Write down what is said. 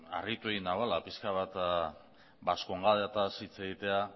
harritu egin nauela pixka bat baskongadataz hitz egitea